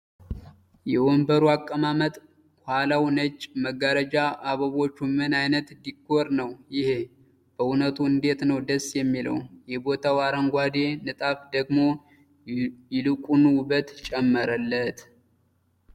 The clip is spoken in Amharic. የወንበሩ አቀማመጥ ኋላው ነጭ መጋረጃ አበቦቹ ምን አይነት ዲኮር ነው ይሔ ፤ በእውነቱ እንዴት ነው ደስ የሚለው ፤ የቦታው አረንጓዴ ንጣፍ ደግሞ ይልቁኑ ውበት ጨመረለት።